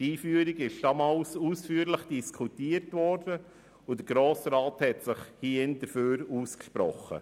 Die Einführung wurde damals ausführlich diskutiert, und der Grosse Rat sprach sich dafür aus.